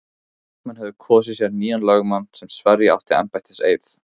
Leikmenn höfðu kosið sér nýjan lögmann sem sverja átti embættiseið.